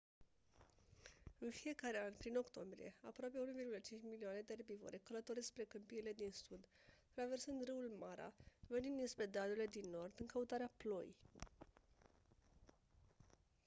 în fiecare an prin octombrie aproape 1,5 milioane de erbivore călătoresc spre câmpiile din sud traversând râul mara venind dinspre dealurile din nord în căutarea ploii